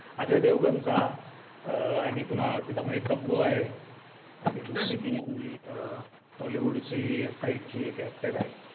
अजय देवगणचा अं आणि कुणाल मध्ये तब्बू आहे आणि दुसरी ती अं bollywood ची kites ची एक actor आहे.